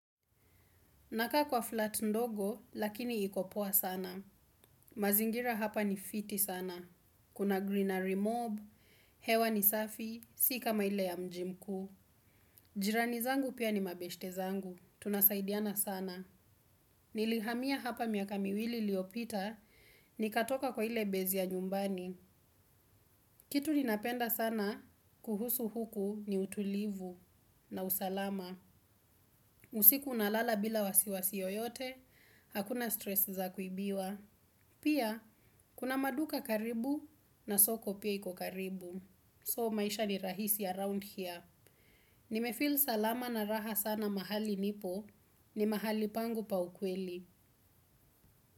Nakaa kwa flat ndogo, lakini iko poa sana. Mazingira hapa ni fiti sana. Kuna greenery mob, hewa ni safi, si kama ile ya mji mkuu. Jirani zangu pia ni mabeshte zangu. Tunasaidiana sana. Nilihamia hapa miaka miwili iliopita, nikatoka kwa ile baze ya nyumbani. Kitu ninapenda sana, kuhusu huku ni utulivu na usalama. Usiku nalala bila wasiwasi yoyote, hakuna stress za kuibiwa. Pia, kuna maduka karibu na soko pia iko karibu. So maisha ni rahisi around here. Nimefeel salama na raha sana mahali nipo ni mahali pangu pa ukweli.